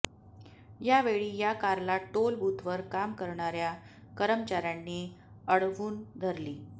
यावेळी या कारला टोल बूथवर काम करणाऱ्या कर्मचाऱ्यांनी अडवून धरली